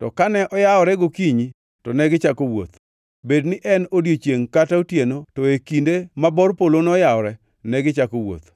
to kane oyawore gokinyi to negichako wuoth. Bed ni en odiechiengʼ kata otieno, to e kinde ma bor polo noyawore, negichako wuoth.